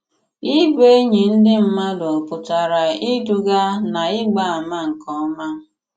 Ị̀bụ̀ ènỳí ndị mmàdù pụtara ìdùgà n'ị̀gbà àmà nke òma.